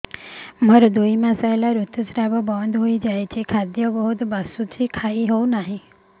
ମୋର ଦୁଇ ମାସ ହେଲା ଋତୁ ସ୍ରାବ ବନ୍ଦ ହେଇଯାଇଛି ଖାଦ୍ୟ ବହୁତ ବାସୁଛି ଖାଇ ହଉ ନାହିଁ